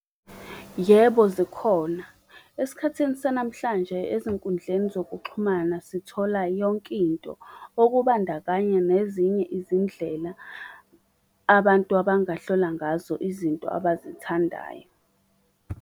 Yebo, zikhona. Esikhathini sanamhlanje ezinkundleni zokuxhumana sithola yonkinto, okubandakanya nezinye izindlela abantu abangahlola ngazo izinto abazithandayo.